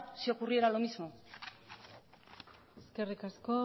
si ocurriera lo mismo eskerrik asko